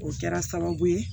O kɛra sababu ye